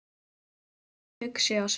Jónas verður hugsi á svip.